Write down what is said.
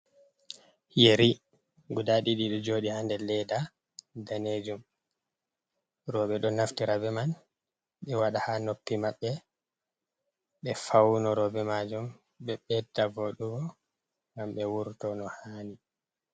Yeeri guda didi jodi handel ledda danejum robe do naftirabe man be wada ha noppi mabbe be fauno robe majum be bedda vodu gam be wurto no hani